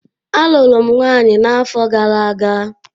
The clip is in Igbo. A lụrụ m nwaanyị n'afọ gara aga.